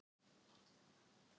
Nú var að bíða.